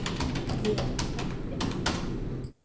Ég er heppin amma.